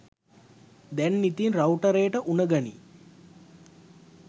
දැන් ඉතින් රවුටරේට උණ ගනියි.